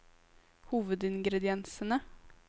hovedingrediensene